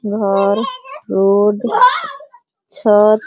घर रोड छत --